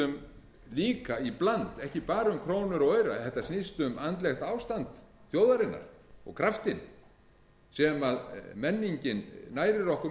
um líka í bland ekki bara um krónur og aura þetta snýst um andlegt ástand þjóðarinnar og kraftinn sem menningin nærir okkur með það er